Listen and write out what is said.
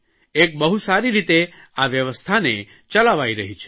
એક બહુ સારી રીતે આ વ્યવસ્થાને ચલાવાઇ રહી છે